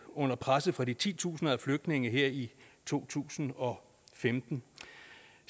under presset fra de titusinder af flygtninge her i to tusind og femten